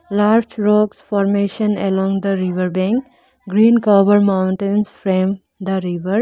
large rocks formation along the river bank green cover mountains frame the river.